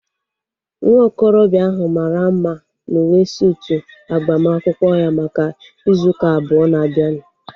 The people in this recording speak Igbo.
Nwa okorobịa ahu mara mma n'uwe suutu agbamakwụkwọ ya maka ịzụ ụka abụọ na-abịanụ